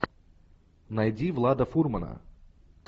найди влада фурмана